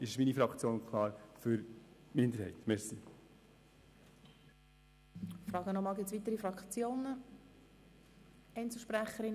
Deshalb ist die Fraktion SP-JUSO-PSA klar für den Antrag der Kommissionsminderheit.